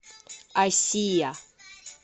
асия